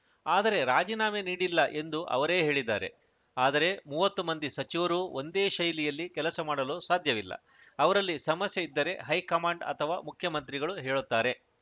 ಆದರೆ ರಾಜೀನಾಮೆ ನೀಡಿಲ್ಲ ಎಂದು ಅವರೇ ಹೇಳಿದ್ದಾರೆ ಆದರೆ ಮೂವತ್ತು ಮಂದಿ ಸಚಿವರೂ ಒಂದೇ ಶೈಲಿಯಲ್ಲಿ ಕೆಲಸ ಮಾಡಲು ಸಾಧ್ಯವಿಲ್ಲ ಅವರಲ್ಲಿ ಸಮಸ್ಯೆ ಇದ್ದರೆ ಹೈಕಮಾಂಡ್‌ ಅಥವಾ ಮುಖ್ಯಮಂತ್ರಿಗಳು ಹೇಳುತ್ತಾರೆ